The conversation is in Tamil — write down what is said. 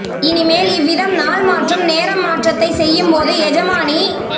இனிமேல் இவ்விதம் நாள் மாற்றும் நேரம் மாற்றத்தைச் செய்யும்போது எஜமானி